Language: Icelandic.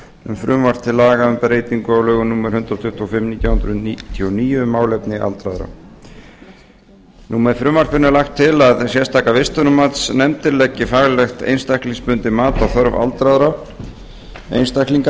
um frumvarp til laga um breytingu á lögum númer hundrað tuttugu og fimm nítján hundruð níutíu og níu um málefni aldraðra með frumvarpi þessu er lagt til að sérstakar vistunarmatsnefndir leggi faglegt einstaklingsbundið mat á þörf aldraðra einstaklinga